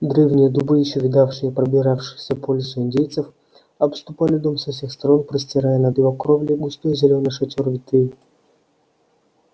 древние дубы ещё видавшие пробиравшихся по лесу индейцев обступали дом со всех сторон простирая над его кровлей густой зелёный шатёр ветвей